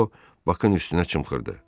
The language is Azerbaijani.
Deyə o Bakın üstünə çımxırdı.